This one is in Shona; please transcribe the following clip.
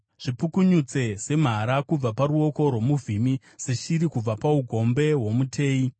Zvipukunyutse, semhara kubva paruoko rwomuvhimi, seshiri kubva paugombe hwomuteyi.